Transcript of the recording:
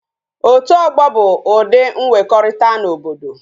Otu ogbo bu udi mwekorita na obodo